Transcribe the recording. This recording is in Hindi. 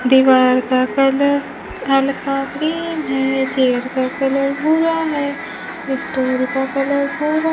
दीवार का कलर हल्का ग्रीन है चेयर का कलर भूरा है स्टोर का कलर भूरा --